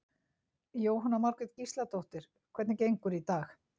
Jóhanna Margrét Gísladóttir: Hvernig gengur í dag?